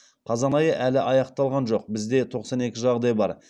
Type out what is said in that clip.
қазан айы әлі аяқталған жоқ бізде тоқсан екі жағдай бар